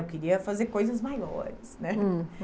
Eu queria fazer coisas maiores, né? Hum.